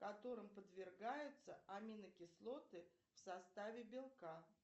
которым подвергаются аминокислоты в составе белка